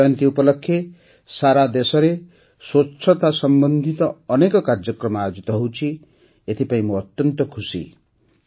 ଗାନ୍ଧି ଜୟନ୍ତୀ ଉପଲକ୍ଷେ ସାରାଦେଶରେ ସ୍ୱଚ୍ଛତା ସମ୍ବନ୍ଧିତ ଅନେକ କାର୍ଯ୍ୟକ୍ରମ ଆୟୋଜିତ ହେଉଛି ଏଥିପାଇଁ ମୁଁ ଅତ୍ୟନ୍ତ ଖୁସି